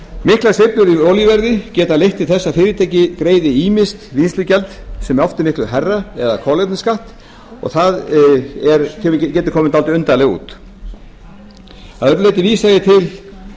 miklar sveiflur í olíuverði geta leitt til þess að fyrirtæki greiði ýmist vinnslugjald sem oft er miklu hærra eða kolefnisskatt og það getur komið dálítið undarlega út að öðru leyti vísa ég til